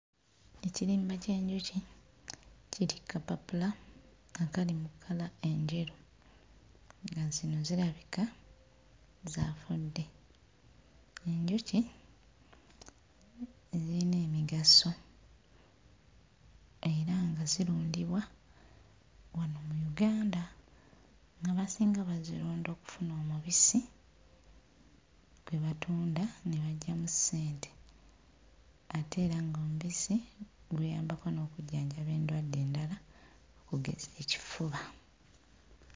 Ekirimba ky'enjuki kiri kkapapula akali mu kkala enjeru nga zino zirabika zaafudde. Enjuki ziyina emigaso era nga zirundibwa wano mu Uganda ng'abasinga abazirunda okufuna omubisi gwe batunda ne baggyamu ssente ate era ng'omubisi guyambako n'okujjanjaba endwadde endala okugeza ekifuba.